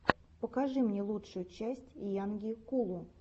покажи мне лучшую часть йанги кулгу